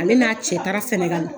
Ale n'a cɛ taara Sɛnɛgali.